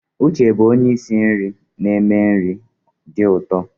Uche bụ onye isi nri na-eme nri dị ụtọ.